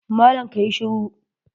Malam ka yi shiru!